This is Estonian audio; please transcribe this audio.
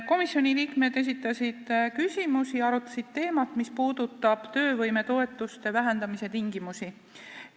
Komisjoni liikmed esitasid küsimusi ja arutasid töövõimetoetuste vähendamise tingimuste üle.